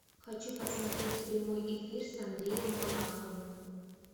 хочу посмотреть прямой эфир с андреем малаховым